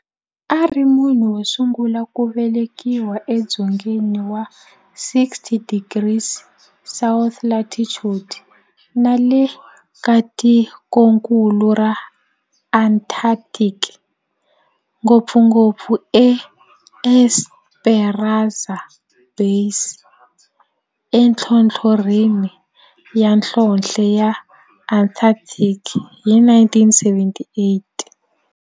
A ri munhu wosungula ku velekiwa e dzongeni wa 60 degrees south latitude nale ka tikonkulu ra Antarctic, ngopfungopfu eEsperanza Base enhlohlorhini ya nhlonhle ya Antarctic hi 1978.